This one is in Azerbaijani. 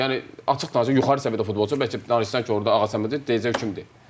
Yəni açıq danış yuxarı səviyyədə futbolçu bəlkə bilirsən ki, orda Ağasəməd deyəcək kimdir.